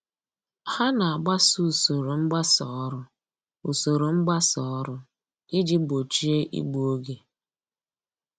Ha na-agbaso usoro mgbasa ọrụ usoro mgbasa ọrụ iji gbochie igbu oge